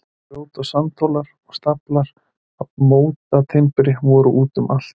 Grjót- og sandhólar og staflar af mótatimbri voru út um allt.